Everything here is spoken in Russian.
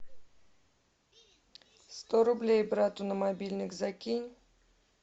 сто рублей брату на мобильник закинь